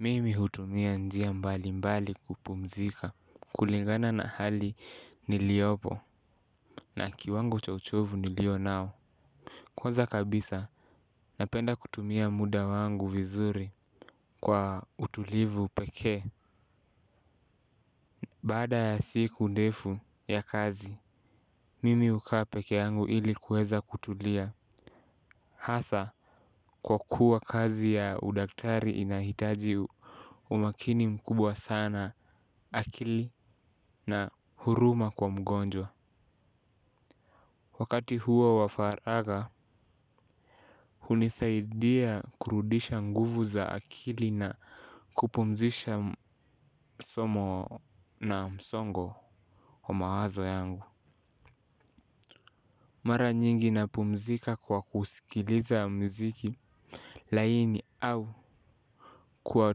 Mimi hutumia njia mbali mbali kupumzika. Kulingana na hali niliopo na kiwango cha uchovu nilio nao kwanza kabisa napenda kutumia muda wangu vizuri kwa utulivu pekee. Baada ya siku ndefu ya kazi mimi hukaa peke yangu ili kuweza kutulia. Hasa kwa kuwa kazi ya udaktari inahitaji umakini mkubwa sana akili na huruma kwa mgonjwa. Wakati huo wa faraga hunisaidia kurudisha nguvu za akili na kupumzisha somo na msongo wa mawazo yangu. Mara nyingi napumzika kwa kusikiliza mziki laini au kwa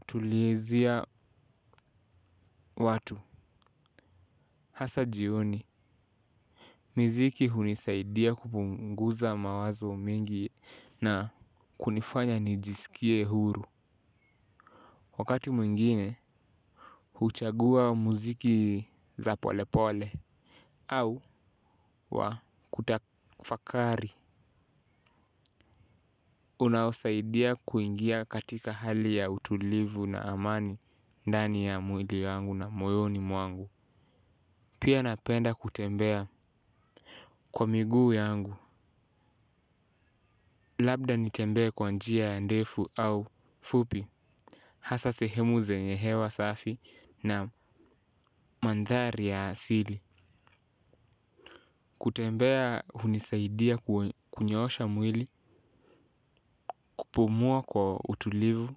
tulizia watu. Hasa jioni. Miziki hunisaidia kupunguza mawazo mingi na kunifanya nijisikie huru. Wakati mwingine, huchagua muziki za pole pole au wa kutafakari unaosaidia kuingia katika hali ya utulivu na amani ndani ya mwili yangu na moyoni mwangu. Pia napenda kutembea kwa miguu yangu. Labda nitembee kwa njia ndefu au fupi. Hasa sehemu zenye hewa safi na mandhari ya asili. Kutembea hunisaidia kunyoosha mwili kupumua kwa utulivu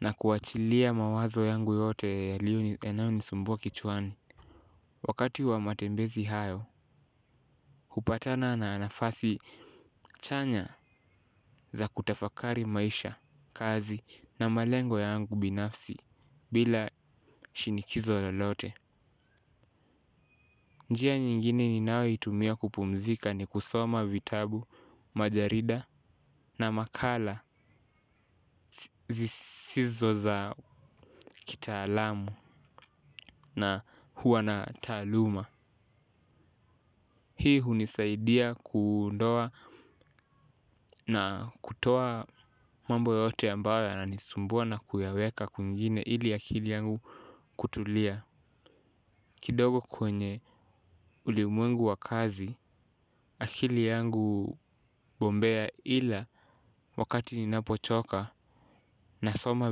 na kuachilia mawazo yangu yote yaliyo yanayo nisumbua kichwani. Wakati wa matembezi hayo hupatana na nafasi chanya za kutafakari maisha kazi na malengo yangu binafsi bila shinikizo lolote. Njia nyingine niayo itumia kupumzika ni kusoma vitabu, majarida na makala zisizo za kitaalamu na huwa na taaluma. Hii hunisaidia kuondoa na kutoa mambo yote ambayo yananisumbua na kuyaweka kwingine ili akili yangu kutulia. Kidogo kwenye ulimwengu wa kazi, akili yangu bombea ila wakati ninapochoka nasoma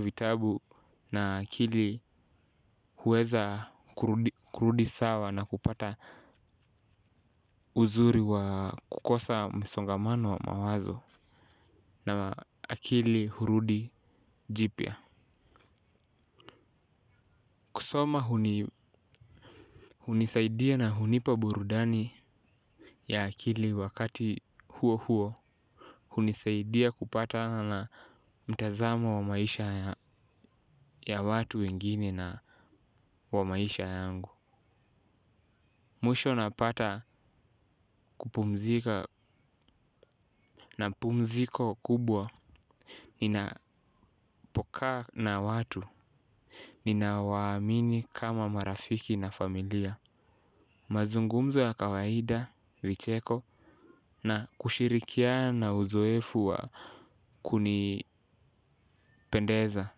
vitabu na akili huweza kurudi sawa na kupata uzuri wa kukosa msongamano wa mawazo na akili hurudi jipy. Kusoma hunisaidia na hunipa burudani ya akili wakati huo huo. Hunisaidia kupatana na mtazamo wa maisha ya watu wengine na wa maisha yangu. Mwisho napata kupumzika na pumziko kubwa. Ninapokaa na watu ninawaamini kama marafiki na familia. Mazungumzo ya kawaida vicheko na kushirikiana na uzoefu wa kunipendeza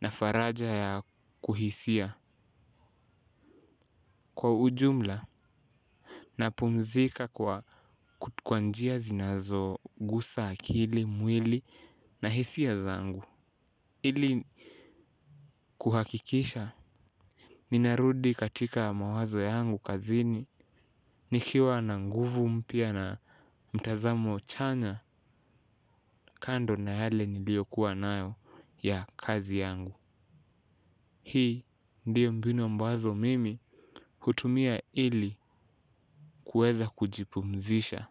na faraja ya kuhisia kwa ujumla napumzika kwa kwa njia zinazo gusa akili mwili na hisia zangu ili kuhakikisha ninarudi katika mawazo yangu kazini nikiwa na nguvu mpya na mtazamo chanya kando na yale niliyo kuwa nayo ya kazi yangu. Hii ndiyo mbinu ambazo mimi hutumia ili kuweza kujipumzisha.